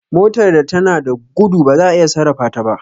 Motar da tana gudo ba za'a iya sarrafa ta ba